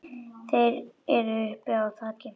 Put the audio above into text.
Þeir eru uppi á þaki.